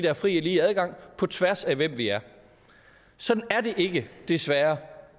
er fri og lige adgang på tværs af hvem vi er sådan er det desværre